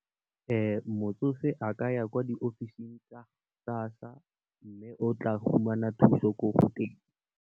Motsofe a ka ya kwa diofising tsa SASSA mme, o tla fumana thuso ko teng.